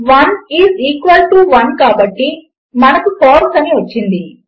1 is equal to 1 కాబటి మనకు ఫాల్సే అని వచ్చింది